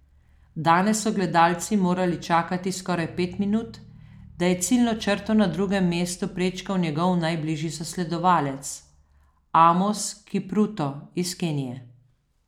Danes so gledalci morali čakati skoraj pet minut, da je ciljno črto na drugem mestu prečkal njegov najbližji zasledovalec, Amos Kipruto iz Kenije.